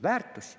Väärtuse.